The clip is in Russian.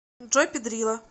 джой пидрила